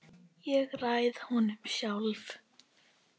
Ég ræð honum sjálf.